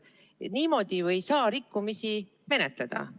Niimoodi ei saa rikkumisi menetleda.